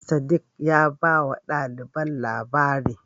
Sadiq ya bawa ɗaliban labari.